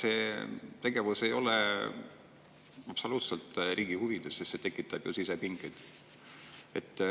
See tegevus ei ole absoluutselt riigi huvides, sest see tekitab sisepingeid.